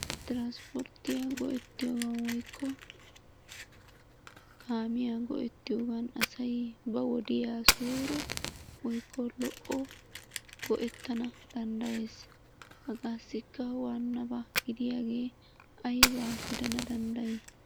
Transportiya go'ettiyoga woyikko kaamiya go'ettiyogan asay ba wodiyan suure woykko lo'o go'ettana danddayees. Hagaassikka waanaba gidiyagee ayiba gidana danddayi?